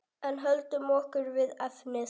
En höldum okkur við efnið.